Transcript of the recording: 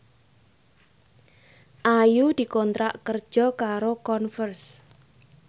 Ayu dikontrak kerja karo Converse